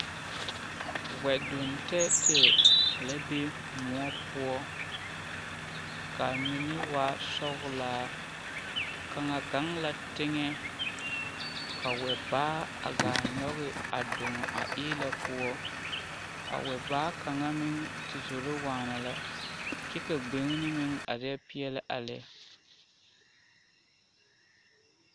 Wɛdonne tɛɛtɛɛ la be kóɔ poɔ kaa mine waa sɔgelaa kaŋa gaŋ la teŋa kabwɛbaa kaa kyɔg a doŋe a eelɛ poɔ a wɛbaa kaŋa meŋ de zoro waana la kyɛ ka gbene meŋ are peɛle a lɛ